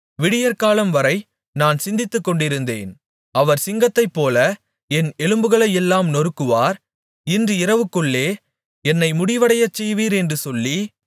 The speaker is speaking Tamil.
விடியற்காலம்வரை நான் சிந்தித்துக்கொண்டிருந்தேன் அவர் சிங்கத்தைப்போல என் எலும்புகளையெல்லாம் நொறுக்குவார் இன்று இரவுக்குள்ளே என்னை முடிவடையச்செய்வீர் என்று சொல்லி